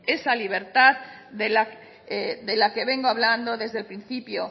esa libertad de la que vengo hablando desde el principio